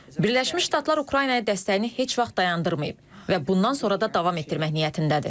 Birləşmiş Ştatlar Ukraynaya dəstəyini heç vaxt dayandırmayıb və bundan sonra da davam etdirmək niyyətindədir.